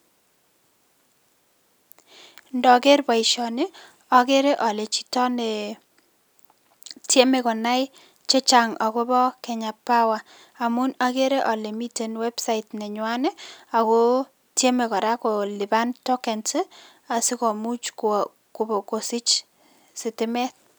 Ndaker boisoni, agere ale chito ne tieme konai chechang' ak kobo Kenya power. Amun, akeren kole miten website nenywan, ako tieme kora kolipan tokens asikomuch kosich sitimet